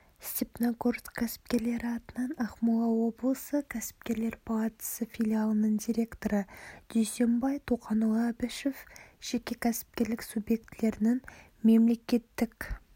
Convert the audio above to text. степногорск кәсіпкерлері атынан ақмола облысы кәсіпкерлер палатасы филиалының директоры дүйсенбай тоқанұлы әбішев жеке кәсіпкерлік субъектілерінің мемлекеттік